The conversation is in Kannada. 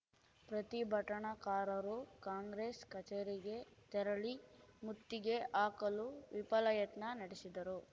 ಪ್ರತಿಭಟನಾಕಾರರು ಕಾಂಗ್ರೆಸ್‌ ಕಚೇರಿಗೆ ತೆರಳಿ ಮುತ್ತಿಗೆ ಹಾಕಲು ವಿಫಲ ಯತ್ನ ನಡೆಸಿದರು